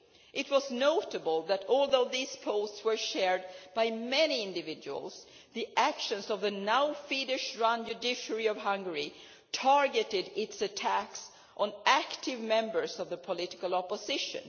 It was notable that, although these posts were shared by many individuals, the actions of the now Fidesz run judiciary of Hungary targeted its attacks at active members of the political opposition.